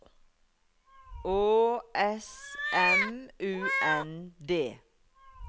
Å S M U N D